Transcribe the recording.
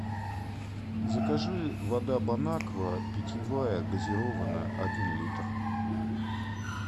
закажи вода бонаква питьевая газированная один литр